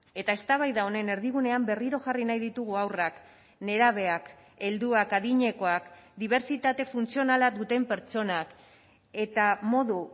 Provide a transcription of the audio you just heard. eta eztabaida honen erdigunean berriro jarri nahi ditugu haurrak nerabeak helduak adinekoak dibertsitate funtzionala duten pertsonak eta modu